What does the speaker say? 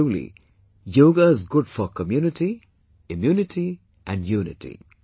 Truly , 'Yoga' is good for community, immunity and unity